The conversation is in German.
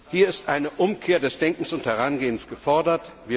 Hier ist eine Umkehr des Denkens und Herangehens gefordert.